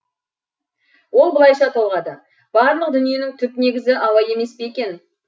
ол былайша толғады барлық дүниенің түп негізі ауа емес пе екен